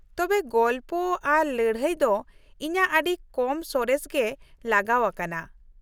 ᱛᱚᱵᱮ, ᱜᱚᱞᱯᱚ ᱟᱨ ᱞᱟᱹᱲᱷᱟᱹᱭ ᱫᱚ ᱤᱧᱟᱹᱜ ᱟᱹᱰᱤ ᱠᱚᱢ ᱥᱚᱨᱮᱥ ᱜᱮ ᱞᱟᱜᱟᱣ ᱟᱠᱟᱱᱟ ᱾